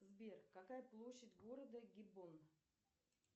сбер какая площадь города гиббон